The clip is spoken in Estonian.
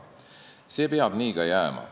See peab nii ka jääma.